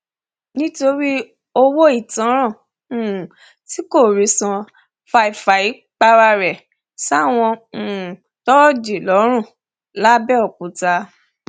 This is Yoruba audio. nítorí owó ìtanràn um tí kò rí san fáfáì para ẹ sáwọn um thoji lọrun lápbèòkúta